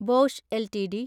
Bosch LTD